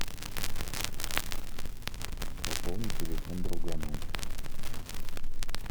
пополни телефон другану